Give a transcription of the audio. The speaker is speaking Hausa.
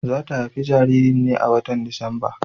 Za ta haifi jaririn ne a watan Disamba.